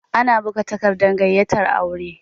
Ana buga takardar gayyatar aure